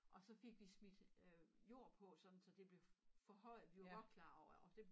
Og så fik vi smidt øh jord på sådan så det blev forhøjet vi var godt klar over årh det